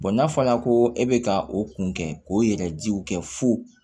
n'a fɔra ko e bɛ ka o kun kɛ k'o yɛrɛjiw kɛ fo